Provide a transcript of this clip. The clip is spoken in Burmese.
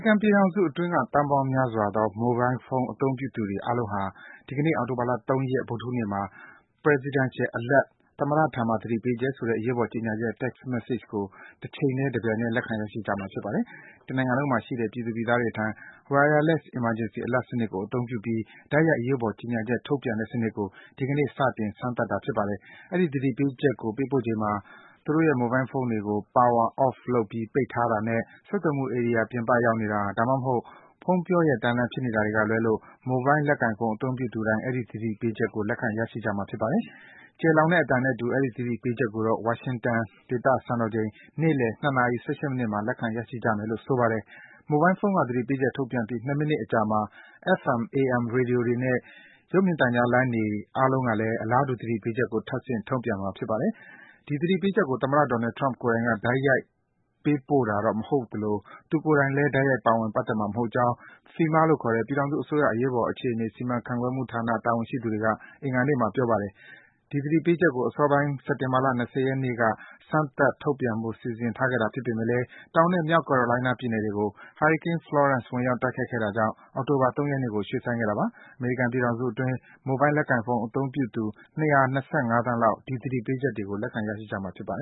ကန်ပြည်ထောင်စုအတွင်းက သန်းပေါင်းများစွာသော မိုဘိုင်းဖုန်း အသုံးပြုသူတွေ အားလုံးဟာ ဒီကနေ့ အောက်တိုဘာလ ၃ ရက်၊ ဗုဒ္ဓဟူးနေ့မှာ “Presidential Alert” သမ္မတထံမှ သတိပေးချက် - ဆိုတဲ့ အရေးပေါ် ကြေညာချက် Text Message ကို တချိန်တည်း၊ တပြိုင်တည်း လက်ခံ ရရှိကြမှာ ဖြစ်ပါတယ်။ တနိုင်ငံလုံးမှာရှိတဲ့ ပြည်သူ/ပြည်သားတွေထံ Wireless Emergency Alert စနစ်ကို အသုံးပြုပြီး တိုက်ရိုက် အရေးပေါ် ကြေညာချက် ထုတ်ပြန်တဲ့စနစ်ကို ဒီကနေ့မှာ စတင် စမ်းသပ်တာ ဖြစ်ပါတယ်။ အဲဒီ သတိပေးချက်ကို ပေးပို့ချိန်မှာ သူတို့ရဲ့ ဖုန်းတွေကို Power Off လုပ်ပြီး ပိတ်ထားတာနဲ့ ဆက်သွယ်မှုဧရိယာ ပြင်ပရောက်နေတာ၊ ဒါမှမဟုတ် ဖုန်းပြောလျှက်တန်းလန်း ဖြစ်နေတာတွေကလွဲလို့ မိုဘိုင်း လက်ကိုင်ဖုန်း အသုံးပြုသူတိုင်း အဲဒီ သတိပေးချက်ကို လက်ခံ ရရှိမှာ ဖြစ်ပါတယ်။ ကျယ်လောင်တဲ့အသံနဲ့အတူ အဲဒီ သတိပေးချက်ကိုတော့ ဝါရှင်တန် စံတော်ချိန် နေ့လည် ၂ နာရီ ၁၈ မိနစ်မှာ လက်ခံ ရရှိကြမယ်လို့ ဆိုပါတယ်။ မိုဘိုင်းဖုန်းက သတိပေးချက် ထုတ်ပြန်ပြီး ၂ မိနစ်အကြာမှာ FM ၊ AM ရေဒီယိုတွေနဲ့ ရုပ်မြင်သံကြားလိုင်းတွေ အားလုံးကလည်း အလားတူ သတိပေးချက်ကို ထပ်ဆင့် ထုတ်ပြန်မှာ ဖြစ်ပါတယ်။ ဒီသတိပေးချက်ကို သမ္မတ Donald Trump ကိုယ်တိုင်က တိုက်ရိုက်ပို့တာတော့ မဟုတ်သလို သူကိုယ်တိုင်လည်း တိုက်ရိုက် ပါဝင် ပတ်သက်မှာ မဟုတ်ကြောင်း FEMA လို့ခေါ်တဲ့ ပြည်ထောင်စုအစိုးရ အရေးပေါ်အခြေအနေ စီမံခန့်ခွဲမှုဌာန တာဝန်ရှိသူတွက အင်္ဂါနေ့မှာ ပြောပါတယ်။ ဒီသတိပေးချက်ကို အစောပိုင်းက စက်တင်ဘာ ၂၀ ရက်နေ့ စမ်းသပ် ထုတ်ပြန်ဖို့ စီစဉ်ထားခဲ့တာ ဖြစ်ပေမယ့် တောင်နဲ့ မြောက် ကယ်ရိုလိုင်းနား ပြည်နယ်တွေကို ဟာရီကိန်း Florance ဝင်ရောက် တိုက်ခတ်ခဲ့တာကြောင့် အောက်တိုဘာ ၃ ရက်နေ့ကို ရွေ့ဆိုင်းခဲ့တာပါ။ အမေရိကန်ပြည်ထောင်စုအတွင်းက မိုဘိုင်းလက်ကိုင်ဖုန်း အသုံးပြုသူ ၂၂၅ သန်းလောက် ဒီ သတိပေးချက်ကို လက်ခံ ရရှိကြမှာဖြစ်ပါတယ